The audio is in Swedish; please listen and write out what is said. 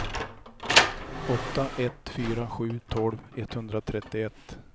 åtta ett fyra sju tolv etthundratrettioett